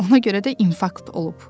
Ona görə də infarkt olub.